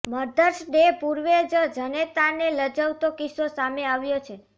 mothers day પૂર્વે જ જનેતાને લજવતો કિસ્સો સામે આવ્યો છે